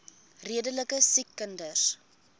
redelike siek kinders